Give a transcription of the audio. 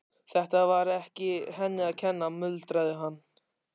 Þetta var ekki henni að kenna, muldraði hann.